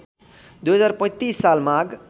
२०३५ साल माघ